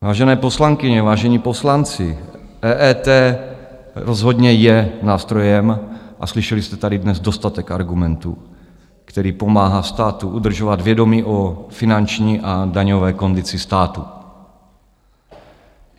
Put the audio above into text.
Vážené poslankyně, vážení poslanci, EET rozhodně je nástrojem, a slyšeli jste tady dnes dostatek argumentů, který pomáhá státu udržovat vědomí o finanční a daňové kondici státu.